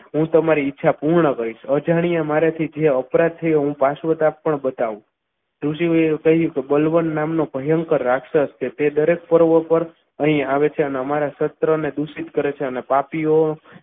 હું તમારી ઈચ્છા પૂર્ણ કરીશ અજાણ્ય મારાથી જે અપરાધ થયો હું શાશ્વત આપ પણ બતાવો ઋષિમુનિઓએ કહ્યું કે બલવંત નામનો ભયંકર રાક્ષસ કે તે દરેક પર્વત ઉપર અહીં આવે છે અને અમારા સહસ્ત્ર અને દૂષિત કરે છે અને પાપીઓ